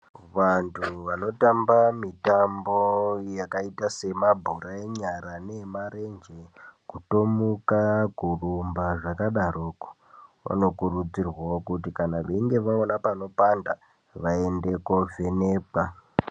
Vantu vanotamba mitambo yakaita semabhora enyara neemarenje kutomuka kurumba zvakadaroko vano kurudzirwawo kuti kana veinga vaona panopanda vaende kovhenekwa